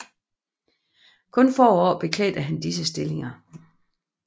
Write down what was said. Kun få år beklædte han disse stillinger